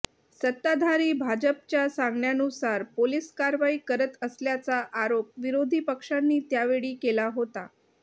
सत्ताधारी भाजपच्या सांगण्यानुसार पोलीस कारवाई करत असल्याचा आरोप विरोधी पक्षांनी त्यावेळी केला होता